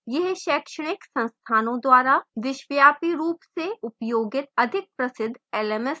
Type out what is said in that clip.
यह शैक्षणिक संस्थानों द्वारा विश्वव्यापी रूप से उपयोगित अधिक प्रसिद्ध lms है